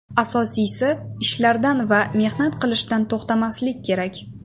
Asosiysi, ishlashdan va mehnat qilishdan to‘xtamaslik kerak”.